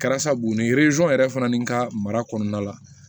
Kɛra sabu ni yɛrɛ fana ni ka mara kɔnɔna la